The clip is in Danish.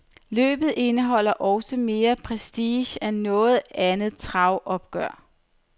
Løbet indeholder også mere prestige end noget andet travopgør.